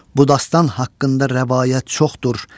Bu dastan haqqında rəvayət çoxdur.